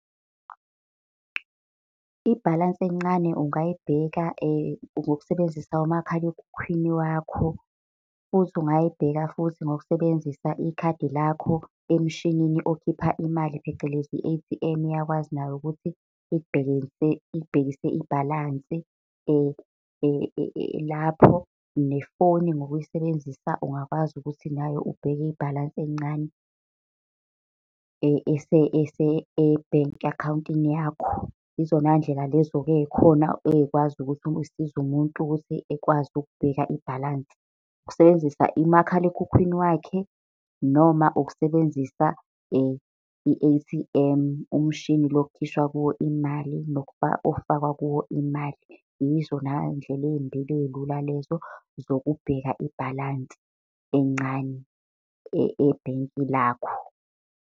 Ibhalansi encane ungayibheka ngokusebenzisa umakhalekhukhwini wakho. Futhi ungayibheka futhi ngokusebenzisa ikhadi lakho emshinini okhipha imali phecelezi i-A_T_M, iyakwazi nayo ukuthi ikubhekise ibhalansi. lapho. Nefoni ngokuyisebenzisa, ungakwazi ukuthi nayo ubheke ibhalansi encane e-bank akhawuntini yakho. Izona ndlela lezo-ke ey'khona ey'kwazi ukuthi zisize umuntu ukuthi ekwazi ukubeka ibhalansi. Ukusebenzisa umakhalekhukhwini wakhe, noma ukusebenzisa i-A_T_M, umshini lo okukhishwa kuwo imali, okufakwa kuwo imali. Yizona ndlela ey'mbili ey'lula lezo zokubheka ibhalansi encane ebhenki lakho.